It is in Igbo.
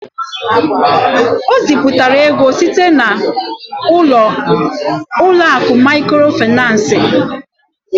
O zipụrụ ego site n'ụlọ akụ maịkrofaịnans.